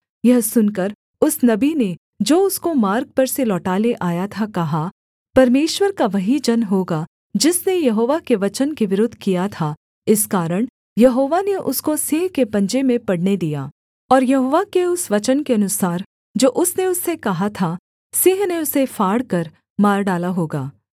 यह सुनकर उस नबी ने जो उसको मार्ग पर से लौटा ले आया था कहा परमेश्वर का वही जन होगा जिसने यहोवा के वचन के विरुद्ध किया था इस कारण यहोवा ने उसको सिंह के पंजे में पड़ने दिया और यहोवा के उस वचन के अनुसार जो उसने उससे कहा था सिंह ने उसे फाड़कर मार डाला होगा